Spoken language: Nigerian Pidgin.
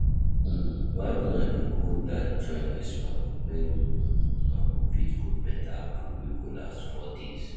um Why una dey go dat joint waste money wen um una go fit cook beta food wey go last for days